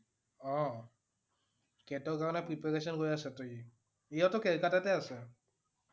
অ' CAT ৰ কাৰণে preparation কৰি আছে টো সি । সিও টো কলিকতাতে আছে ।